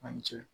A ni ce